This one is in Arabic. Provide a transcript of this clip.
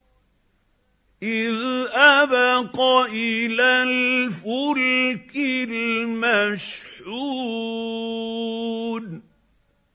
إِذْ أَبَقَ إِلَى الْفُلْكِ الْمَشْحُونِ